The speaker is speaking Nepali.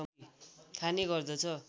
खाने गर्दछ